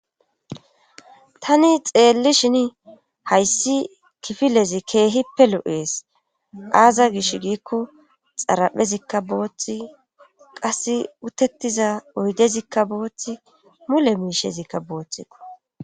Tani xeelli shin hayssi kifilezi keehippe lu'ees aaza gish giikko xaraphezikka booththi qas utettiza oydezikka booththi mule miishezikka booththio.